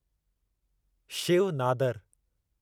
Shiv Nadar